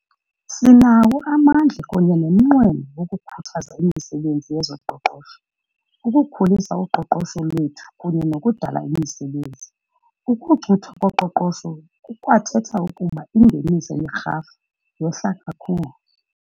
Sinawo amandla kunye nomqweno wokukhuthaza imisebenzi yezoqoqosho, ukukhulisa uqoqosho lwethu kunye nokudala imisebenzi. Ukucuthwa koqoqosho kukwathetha ukuba ingeniso yerhafu yehla kakhulu.